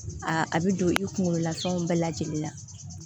a bɛ don i kunkolo la fɛnw bɛɛ lajɛlen na